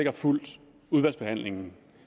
har fulgt udvalgsbehandlingen